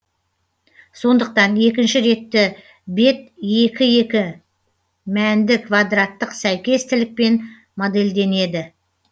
сондықтан екінші ретті бет екі екі мәнді квадраттық сәйкестілікпен модельденеді